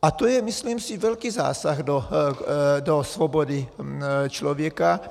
A to je, myslím si, velký zásah do svobody člověka.